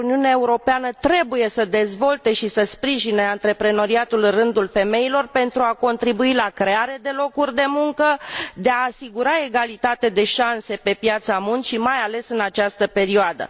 Uniunea Europeană trebuie să dezvolte și să sprijine antreprenoriatul în rândul femeilor pentru a contribui la crearea de locuri de muncă și pentru a asigura egalitate de șanse pe piața muncii, mai ales în această perioadă.